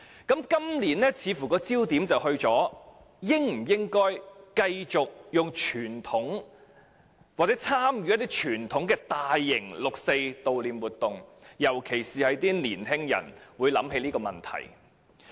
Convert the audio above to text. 今年的焦點似乎放在應否繼續以傳統方式，或參與大型活動悼念六四，尤其是有年青人會提出這項質疑。